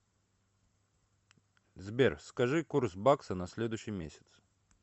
сбер скажи курс бакса на следующий месяц